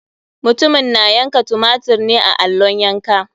Mutumin na yanka tumatir ne a allon yanka.